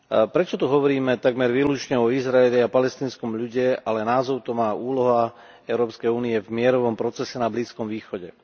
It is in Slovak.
Prečo tu hovoríme takmer výlučne o Izraeli a palestínskom ľude, ale názov to má úloha Európskej únie v mierovom procese na Blízkom východe?